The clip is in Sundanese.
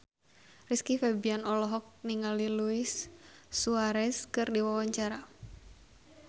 Rizky Febian olohok ningali Luis Suarez keur diwawancara